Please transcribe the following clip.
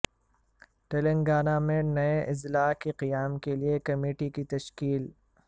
تلنگانہ میں نئے اضلاع کے قیام کے لئے کمیٹی کی تشکیل